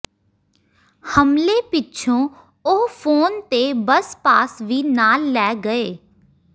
ਹਮਲੇ ਪਿੱਛੋਂ ਉਹ ਫੋਨ ਤੇ ਬੱਸ ਪਾਸ ਵੀ ਨਾਲ ਲੈ ਗਏ